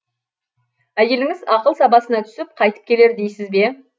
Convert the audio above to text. әйеліңіз ақыл сабасына түсіп қайтып келер дейсіз бе